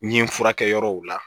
N ye n furakɛ yɔrɔw la